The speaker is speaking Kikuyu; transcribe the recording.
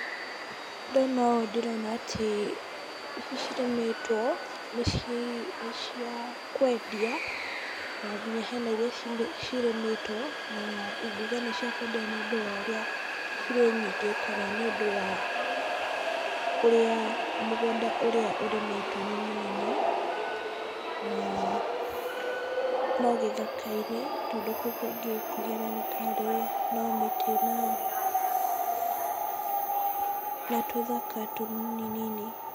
Ndona ũũ ndĩrona atĩ, ici cirĩmĩtwo nĩ cia kwendia , na nginya hena iria cirĩmĩtwo, na ingiuga nĩ cia kwendio nĩ ũndũ cirĩ nyingĩ, kana nĩ ũndũ wa kũrĩa mũgũnda ũrĩa ũrĩmĩtwo nĩ mũnene, na no gĩthaka-inĩ , tondũ gũkũ ũngĩ nĩ atĩ no mĩtĩ , na tũthaka tũnini nini.